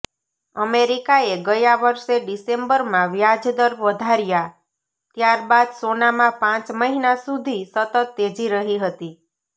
અમેરિકાએ ગયા વર્ષે ડિસેમ્બરમાં વ્યાજદર વધાર્યા ત્યારબાદ સોનામાં પાંચ મહિના સુધી સતત તેજી રહી હતી